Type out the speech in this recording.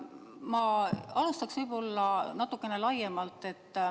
Ma alustan võib-olla natukene laiemalt.